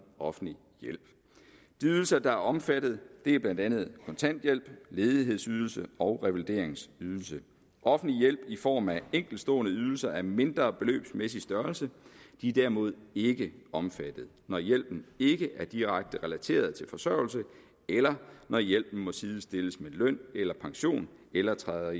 offentlig hjælp de ydelser der er omfattet er blandt andet kontanthjælp ledighedsydelse og revalideringsydelse offentlig hjælp i form af enkeltstående ydelser af mindre beløbsmæssig størrelse er derimod ikke omfattet når hjælpen ikke er direkte relateret til forsørgelse eller når hjælpen må sidestilles med løn eller pension eller træder